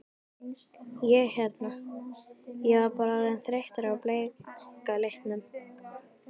Ég hérna. ég var bara orðinn þreyttur á bleika litnum.